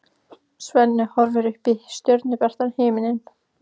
Svenni horfir upp í stjörnubjartan himininn.